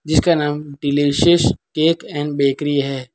जिसका नाम delicious cake and bakery है।